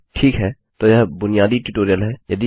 ठीक है तो यह बुनियादी ट्यूटोरियल है